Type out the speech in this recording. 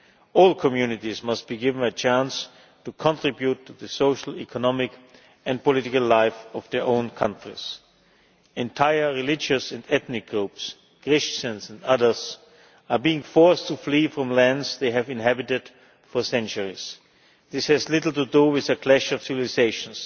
All communities must be given a chance to contribute to the social, economic and political life of their own countries. Entire religious and ethnic groups Christians and others are being forced to flee from lands they have inhabited for centuries. This has little to do with a clash of civilisations'